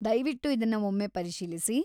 ದಯವಿಟ್ಟು ಇದನ್ನ ಒಮ್ಮೆ ಪರಿಶೀಲಿಸಿ.